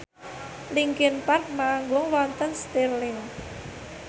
linkin park manggung wonten Stirling